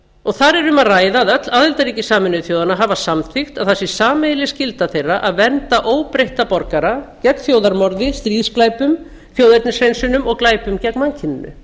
og þar er um að ræða að öll aðildarríki sameinuðu þjóðanna hafa samþykkt að það sé sameiginleg skylda þeirra að vernda óbreytta borgara gegn þjóðarmorði stríðsglæpum þjóðernishreinsunum og glæpum gegn mannkyninu